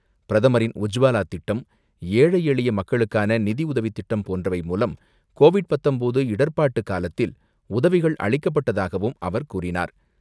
பிரதமரின் உஜ்வாலா திட்டம், ஏழை எளிய மக்களுக்கான நிதியுதவி திட்டம் போன்றவை மூலம் கோவிட் பத்தொன்பது இடர்பாட்டு காலத்தில் உதவிகள் அளிக்கப்பட்டதாகவும் அவர் கூறினார்.